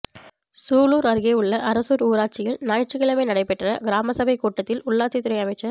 சூலூா் அருகே உள்ள அரசூா் ஊராட்சியில் ஞாயிற்றுக்கிழமை நடைபெற்ற கிராம சபைக் கூட்டத்தில் உள்ளாட்சித் துறை அமைச்சா்